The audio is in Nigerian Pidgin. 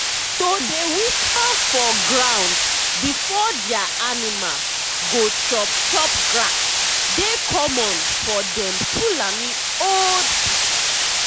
to dey whisper for um ground before dia animal um go chop chop grass dey common for dem fulani old um pipu.